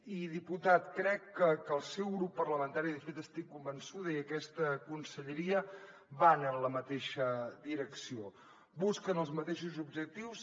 i diputat crec que el seu grup parla mentari de fet n’estic convençuda i aquesta conselleria van en la mateixa direcció busquen els mateixos objectius